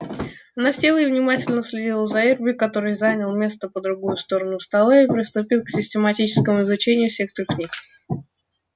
она села и внимательно следила за эрби который занял место по другую сторону стола и приступил к систематическому изучению всех трёх книг